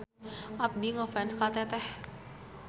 Abdi ngefans ka Teteh.